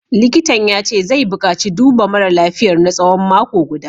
Likitan ya ce zai bukaci duba mara lafiyar na tsawon mako guda